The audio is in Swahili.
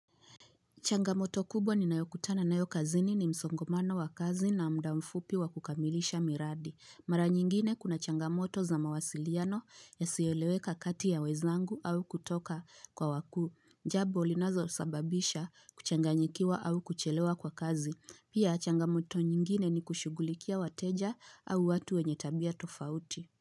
Changamoto kubwa ninayokutana nayo kazini ni msongamano wa kazi na muda mfupi wa kukamilisha miradi. Mara nyingine kuna changamoto za mawasiliano yasiyoeleweka kati ya wenzangu au kutoka kwa wakuu. Jambo linalosababisha kuchanganyikiwa au kuchelewa kwa kazi. Pia changamoto nyingine ni kushugulikia wateja au watu wenye tabia tofauti.